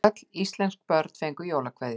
Öll íslensk börn fengu jólakveðju.